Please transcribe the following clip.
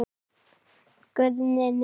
Guðni:. nei.